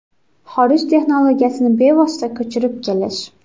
Xorij texnologiyasini bevosita ko‘chirib kelish .